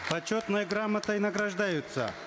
почетной грамотой награждаются